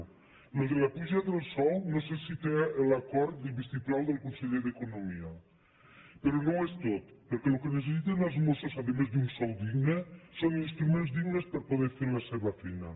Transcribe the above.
això de la puja del sou no sé si té l’acord i el vistiplau del conseller d’economia però no ho és tot perquè el que necessiten els mossos a més d’un sou digne són instruments dignes per poder fer la seva feina